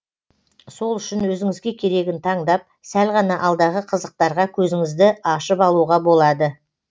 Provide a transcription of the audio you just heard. сол үшін өзіңізге керегін таңдап сәл ғана алдағы қызықтарға көзіңізді ашып алуға болады